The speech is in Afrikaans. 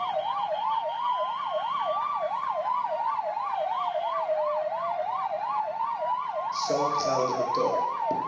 saak gelde betaal